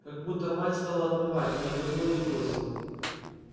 как будто мать стала отмывать но не домыла и бросила